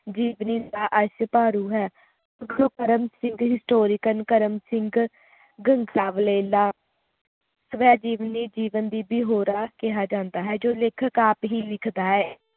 ਜੀਵਨੀ ਦਾ ਡਭਾਰੁ ਹੈ ਕਰਮ ਸਿੰਘ ਦੀ ਕਰਮ ਸਿੰਘ ਪਾਬਲੇ ਦਾ ਸਵੈ ਜੀਵਨੀ ਜੀਵਨ ਦੀ ਵੀ ਹੋਰਾਂ ਕਿਹਾ ਜਾਂਦਾ ਹੈ ਜੋ ਲੇਖਕ ਆਪ ਹੀ ਲਿਖਦਾ ਹੈ